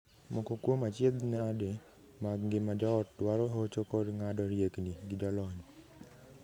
Moko kuom achiedhnade mag ngima joot dwaro hocho kod ng'ado riekni gi jolony.